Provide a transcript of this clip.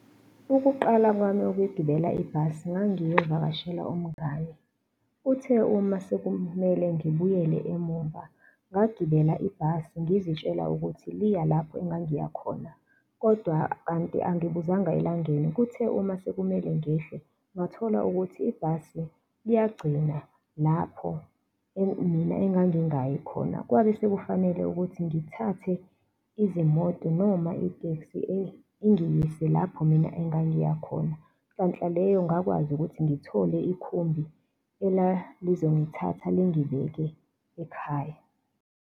Ukuqala kwami ukugibela ibhasi ngangiyovakashela umngani. Uthe uma sekumele ngibuyele emuva ngagibela ibhasi ngizitshela ukuthi liya lapho engangiya khona kodwa kanti angibuzanga elangeni, kuthe uma sekumele ngehle ngathola ukuthi ibhasi liyagcina lapho mina engingayi khona kwabesekufanele ukuthi ngithathe izimoto noma iteksi ingiyise lapho mina engangiya khona. Nhlanhla leyo ngakwazi ukuthi ngithole ikhumbi elalizongithatha lingibeke ekhaya.